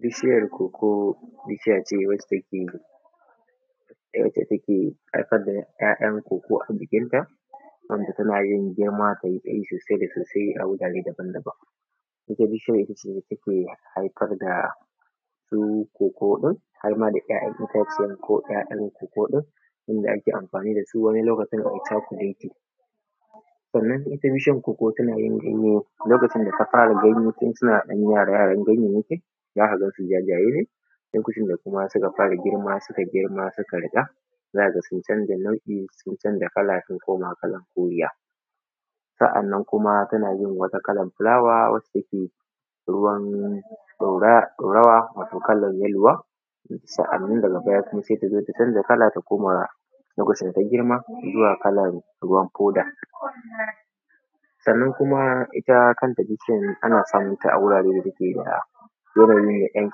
Bishiyar koko bishiya ce wadda take haifar da ‘yan koko a jikinta, wanda tana yi girma sosai da sosai a wurare daban-daban. Ita bishiyar ita ce take haifar da su koko, har ma da ‘ya’yan itacuwan dama kokon inda ake amfani da shi wajen yin cakuleti. Wannan ita bishiyar koko tana yin ganye lokacin da ta fara ina ganye. Tun suna ‘yan yara za ka gan su jajaye ne lokacin da suka ɗan fara gira. Su kai girma, suka riƙa, za ka ga ya canza ganye, sun canza kala, sun koma kalan koriya. Sa’annan kuma tana yin wani kalan filawa, wanda take ruwan ɗoyawa-ɗorawa, wanda take kalan yalwa. Sa’annan kuma daga bayan, sai ta zo ta canza kala, ta koma kalan ruwan hoda. Sannan ita ma kanta bishiyar, ana samunta a wurare da take da yanayi me ɗan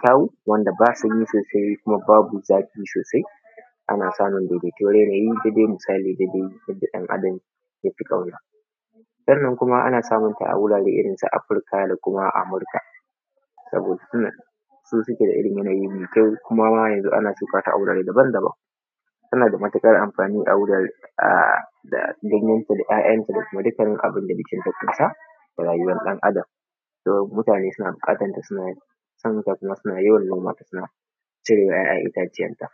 kyau, wanda babu sanyi babu zafi sosai. Ana samunta dai da irin yanayin da misali yadda ɗan-adam ya fi ƙauna. Sannan kuma ana samunsu a wurin su Afirika da kuma su Amurika, saboda sun fi irin yanayi me kyau. Kuma yanzu an shuka ta a wurare daban-daban. Tana da matuƙar anfani a wurare da ganyen ta, da ‘ya’yen ta, da dukkanin abunda jikinta ya ƙunsa a rayuwan ɗan-adam. Kuma mutane suna buƙatanta, suna san ta, kuma suna yawan noma ta, sauna cire ‘ya’yan itacuwan ta.